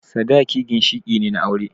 Sadaki ginshiƙi ne na aure